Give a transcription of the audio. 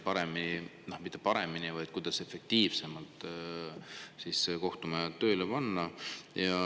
Õigemini mitte paremini, vaid kuidas efektiivsemalt kohtumajad tööle panna.